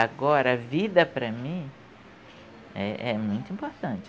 Agora, a vida para mim é, é muito importante.